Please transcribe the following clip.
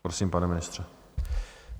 Prosím, pane ministře.